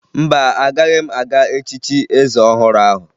Mba, agaghị m aga echichi eze ọhụrụ ahụ